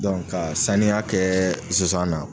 ka saniya kɛɛ sisan nɔ